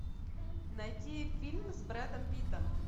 найти фильм с брэдом питтом